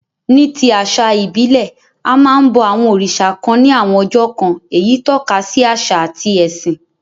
Ní ti àsà ìbílẹ̀, a máa n bo àwon òrìsà kan ni àwon ọjọ́ kan, eyí tókasi àsà àti ẹ̀sìn